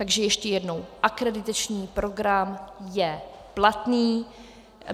Takže ještě jednou, akreditační program je platný.